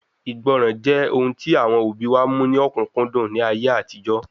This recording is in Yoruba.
Ìgbọràn jẹ́ ohun tí àwọn òbí wa mú ní ọ̀kúnkúndùn ní ayé àtijọ́